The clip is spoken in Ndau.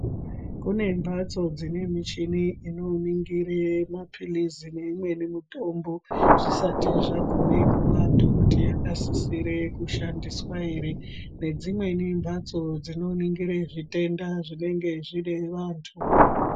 Kune mbatso dzine michini ino ningire mapilizi neimweni mitombo zvisati zvagume kuantu kuti yaka sisire kushandiswa ere. Nedzimweni mbatso dzino ningire zvitenda zvinenge zvine vantu.